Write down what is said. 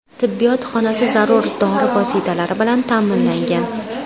Tibbiyot xonasi zarur dori vositalari bilan ta’minlangan.